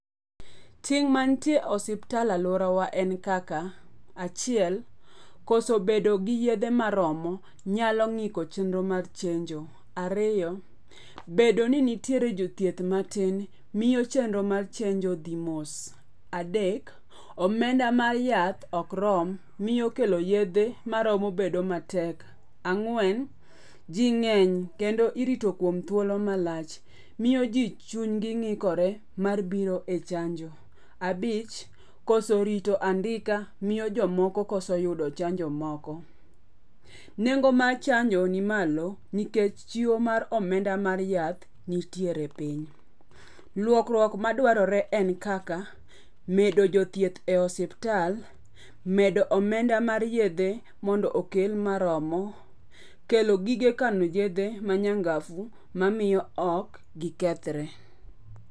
Ting' mantie osiptal aluora wa en kaka - achiel: koso bedo gi yedhe maromo nyalo ng'iko chenro mar chenjo. Ariyo: bedo ni nitiere jothieth matin, miro chenro mar chenjo dhi mos. Adek: omenda mar yath ok rom, miyo kelo yethe maromo bedo matek. Ang'wen: ji ng'eny kendo irito kuom thuolo malach. Miyo ji chunygi ng'ikore mar biro e chanjo. Abich" koso rito andika miyo jomoko koso yudo chanjo moko. Nengo mar chanjo ni malo nikech chiwo mar omenda mar yath nitiere e piny. Lokruok madwarore en kaka medo jothieth e osiptal. Medo omenda mar yethe mondo okel maromo. Kelo gige kano yethe ma nyangafu ma miyo ok gikethre.